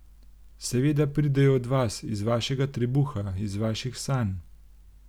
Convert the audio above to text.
Seveda pridejo od vas, iz vašega trebuha, iz vaših sanj.